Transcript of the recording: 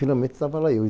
Finalmente tava lá eu